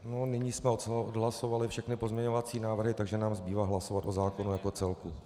Nyní jsme odhlasovali všechny pozměňovací návrhy, takže nám zbývá hlasovat o zákonu jako celku.